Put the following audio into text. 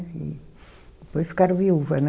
E depois ficaram viúva, né?